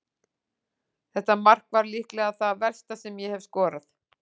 Þetta mark var líklega það versta sem ég hef skorað.